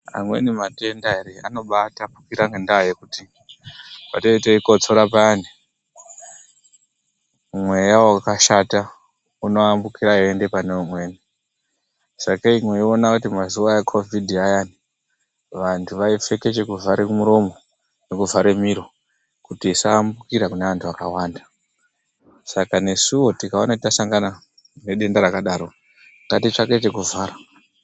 Amweni matenda ere anobatapukira ngenda yekuti patinenge teyikotsora payani mweya wakashata unoyambuka weienda pane umweni. Sakei meiona mazuva ecovid ayani vantu vaipfeka chekuvhara muromo vovhare miro kuti isayambukira kune vandu vakawanda, saka nesuwo tikaona tasangana nedenda rakadaro ngatitsvake chekuvhara.